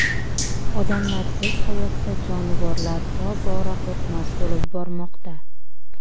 Odamlarsiz hayotda jonivorlar tobora qo‘rqmas bo‘lib bormoqda.